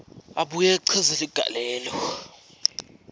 abuye achaze ligalelo